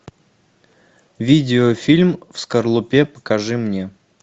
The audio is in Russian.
видеофильм в скорлупе покажи мне